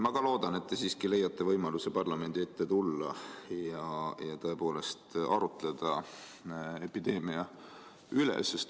Ma ka loodan, et te siiski leiate võimaluse parlamendi ette tulla ja tõepoolest arutleda epideemia üle.